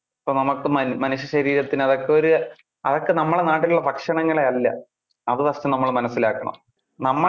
ഇപ്പൊ നമുക്ക് മനു~ മനുഷ്യ ശരീരത്തിന് അതൊക്കെ ഒരു അതൊക്കെ നമ്മുടെ നാട്ടിൽ ഉള്ള ഭക്ഷണങ്ങളെ അല്ലെ. അത് first നമ്മള് മനസിലാക്കണം. നമ്മളെ